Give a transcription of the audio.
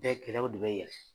Bɛɛ gɛlɛyaw de bɛ yɛlɛ.